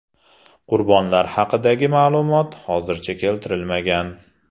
Qurbonlar haqidagi ma’lumot hozircha keltirilmagan.